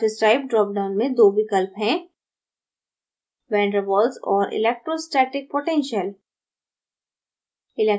surface type drop down में दो विकल्प हैं: van der waals और electrostatic potential